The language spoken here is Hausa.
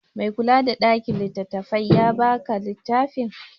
Mai kula da ɗakin littattafai ya ba ka littafin?